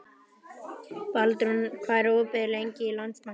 Baldrún, hvað er opið lengi í Landsbankanum?